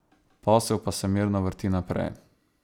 Posel pa se mirno vrti naprej.